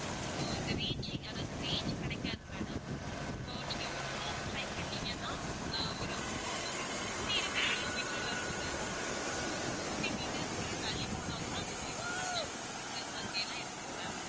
இப்போ இந்த reaching அதாவது range கிடைக்காது madam so நீங்க உள்ளே try பண்ணீங்கன்னா ஆஹ் ஒரு உங்களை சுத்தி இருக்கிற கிலோமீட்டர் வரை ஒரு fifty meters நீங்க தள்ளி போனா கூட அந்த WIFI connection உங்களுக்கு இருக்கிற மாதிரியெல்லாம் இருக்குது ma'am